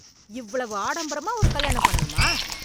இவ்வளவு ஆடம்பரமா ஒரு கல்யாணம் பண்ணனுமா?